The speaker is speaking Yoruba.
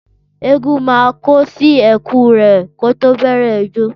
Ẹgún mà kò sí ẹkú rẹ ko tọ bẹ rẹ ìjó.